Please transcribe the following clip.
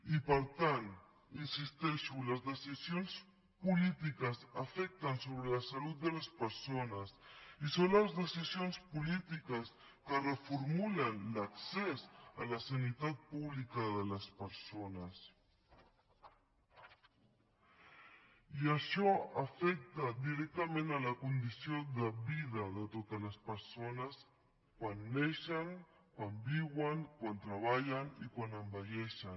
i per tant hi insisteixo les decisions polítiques afecten sobre la salut de les persones i són les decisions polítiques que reformulen l’accés a la sanitat pública de les persones i això afecta directament la condició de vida de totes les persones quan neixen quan viuen quan treballen i quan envelleixen